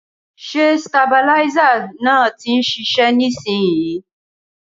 Ṣé sitabiláísà náà ti ń ṣiṣẹ́ nísinsìnyí?